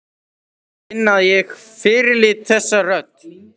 Og ég finn að ég fyrirlít þessa rödd.